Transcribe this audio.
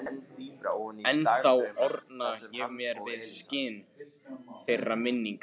Ennþá orna ég mér við skin þeirra minninga.